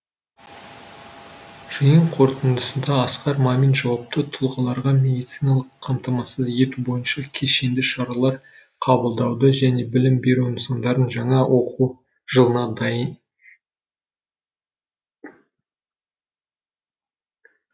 жиын қорытындысында асқар мамин жауапты тұлғаларға медициналық қамтамасыз ету бойынша кешенді шаралар қабылдауды және білім беру нысандарын жаңа оқу жылына дайын